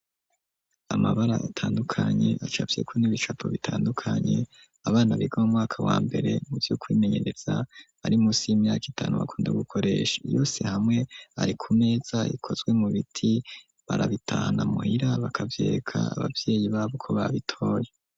Amabara atandukanye acapye ku n'ibicapo bitandukanye abana biga mu mwaka wa mbere muvyo kwimenyereza ari munsi 'imyaka itanu bakunda gukoresha yose hamwe ari ku meza ikozwe mu biti barabitahana muhira bakabyeka ababyeyi babo ko babitoye.